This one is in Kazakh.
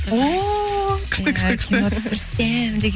ооо күшті күшті күшті кино түсірсем деген